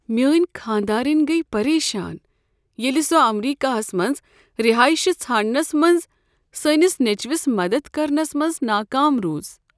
میٛٲنۍ خانٛداریٚنۍ گٔیہ پریشان ییٚلہ سۄ امریکہس منٛز رہٲیشہ ژھانٛڑنس منٛز سٲنس نیٚچوس مدد کرنس منٛز ناکام روٗز۔